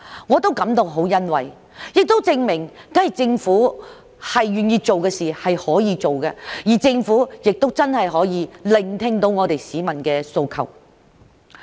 我感到很欣慰，亦證明政府願意做的事，是可以做到的，而政府亦真的聆聽到市民的訴求。